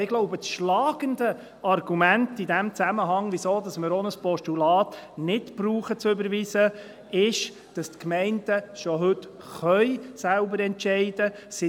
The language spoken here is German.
Ich glaube, das schlagende Argument in diesem Zusammenhang, weshalb wir auch ein Postulat nicht zu überweisen brauchen, ist, dass die Gemeinden schon heute selber entscheiden können.